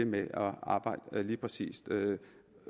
med at arbejde lige præcis